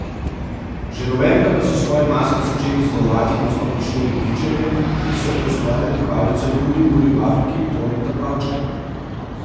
Že novembra pa so svoje maske začeli izdelovati na Osnovni šoli Bičevje, ki so poustvarili pravljico Juri Muri v Afriki Toneta Pavčka.